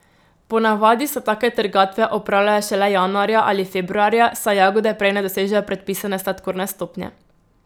Po navadi se take trgatve opravljajo šele januarja ali februarja, saj jagode prej ne dosežejo predpisane sladkorne stopnje.